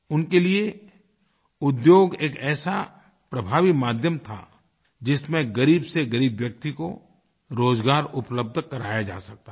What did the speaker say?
उनके लिए उद्योग एक ऐसा प्रभावीमाध्यम था जिसमें ग़रीबसेग़रीब व्यक्ति को रोज़गार उपलब्ध कराया जा सकता था